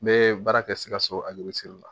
N bɛ baara kɛ sikaso la